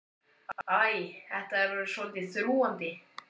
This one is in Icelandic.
Æ, þetta er orðið svolítið þrúgandi.